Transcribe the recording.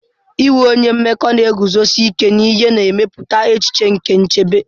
Inwe onye mmekọ na-eguzosi ike n'ihe na-emepụta echiche nke nchebe.